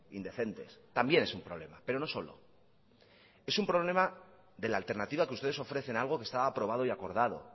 indecentes también es un problema pero no solo es un problema de la alternativa que ustedes ofrecen a algo que estaba aprobado y acordado